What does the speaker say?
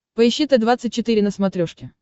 поищи т двадцать четыре на смотрешке